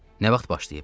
Nə vaxt başlayıb?